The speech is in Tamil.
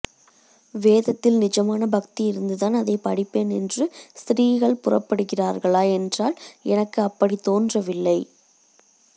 வேதத்தில் நிஜமான பக்தி இருந்துதான் அதைப் படிப்பேன் என்று ஸ்த்ரீகள் புறப்படுகிறார்களா என்றால் எனக்கு அப்படித் தோன்றவில்லை